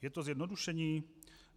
Je to zjednodušení?